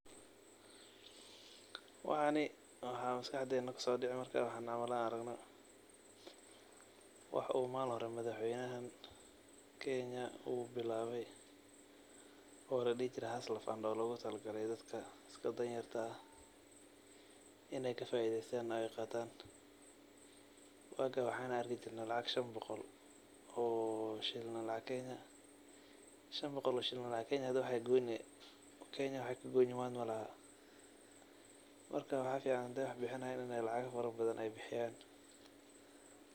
Waxani waxa maskaxdena kuso dhici markan howlahan an aragno, wax uu malin hore madaxweynahan Kenya uu bilawe oo ladhihi jire [cs[hustler fund oo logu tala gale dadka iska Dan yarta ah inay kafaa'iideystan oy qaatan, waga waxana arki jirne lacag shan boqol oo shilin oo lacag kenya, shan boqol oo shilin oo lacag kenya hada kenya waxay kagoyni manta malaha, marka maxa fican haday wax bixinayan inay lacaga fara badan ay bixiyan